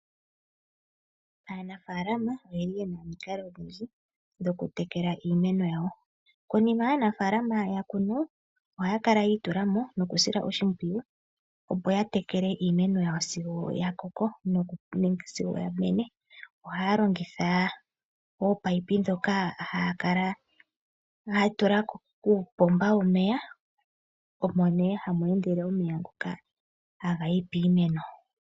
Aanafalama oyeli yena omikalo odhindji dhoku tekela iimeno yawo. Konima aanafalama shoya kunu oha kala yi itula mo noku sila oshimpwiyu opo ya tekele iimeno yawo sigo ya koko nenge sigo yamene. Oha longitha opipe dhoka haa kala ya tula kuupomba womeya. Omo nee hamu endele omeya ngoka haga yi piimeno.